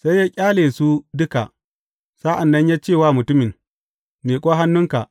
Sai ya kalle su duka, sa’an nan ya ce wa mutumin, Miƙo hannunka.